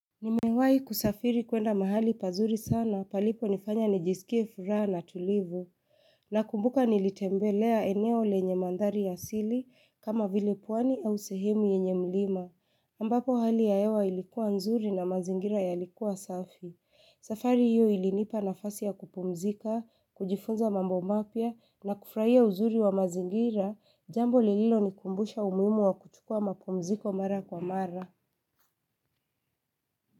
Nimewahi kusafiri kwenda mahali pazuri sana paliponifanya nijisikie furaha na tulivu Nakumbuka nilitembelea eneo lenye mandhari ya siri kama vile pwani au sehemu yenye mlima ambapo hali ya hewa ilikuwa nzuri na mazingira yalikuwa safi safari hiyo ilinipa nafasi ya kupumzika, kujifunza mambo mapya na kufurahia uzuri wa mazingira jambo lililonikumbusha umuhimu wa kuchukua mapumziko mara kwa mara.